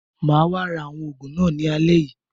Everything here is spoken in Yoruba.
Mà á wá ra àwọn oògùn náà ní alẹ́ yìí.